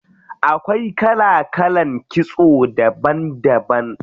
Akwai kala kalan kitso daban daban.